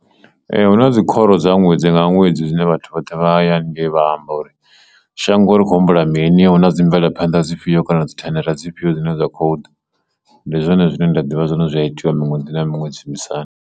Ee, hu na dzikhoro dza ṅwedzi nga ṅwedzi zwine vhathu vhoṱhe vha haya haningei vha amba uri shango ḽi khou humbula mini, huna dzi mvelaphanḓa dzifhio kana dzithendara dzifhio dzine dza khou ḓa ndi zwone zwine nda ḓivha zwone zwi a itiwa miṅwedzi na miṅwedzi shumisani.